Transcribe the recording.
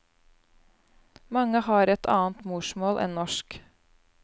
Mange har et annet morsmål enn norsk.